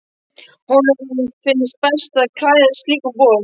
Honum finnst best að klæðast slíkum bolum.